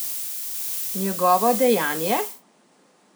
Njegovo dejanje?